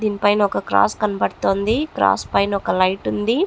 దీని పైన ఒక క్రాస్ కనపడుతుంది. క్రాస్ పైన ఒక లైటు ఉంది.